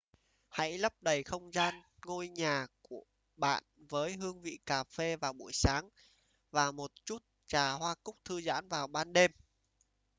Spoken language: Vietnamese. hãy lấp đầy không gian ngôi nhà bạn với hương vị cà phê vào buổi sáng và một chút trà hoa cúc thư giãn vào ban đêm